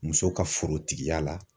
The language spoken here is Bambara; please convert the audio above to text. Muso ka forotigiya la